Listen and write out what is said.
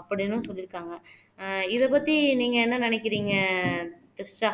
அப்படின்னும் சொல்லி இருக்காங்க ஆஹ் இதப்பத்தி நீங்க என்ன நினைக்கறீங்க திரிஷா